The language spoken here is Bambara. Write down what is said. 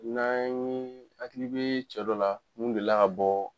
N'an ye hakili be cɛ dɔ la mun deli ka bɔ